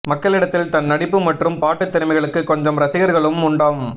மக்களிடத்தில் தன் நடிப்பு மற்றும் பாட்டுத் திறமைகளுக்கு கொஞ்சம் ரசிகர்களும் உண்டாம்